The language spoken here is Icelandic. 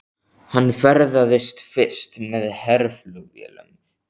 Hann ferðaðist fyrst með herflugvélum til